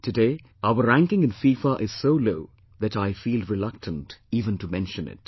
Today our ranking in FIFA is so low that I feel reluctant even to mention it